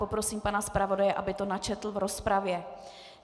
Poprosím pana zpravodaje, aby to načetl v rozpravě.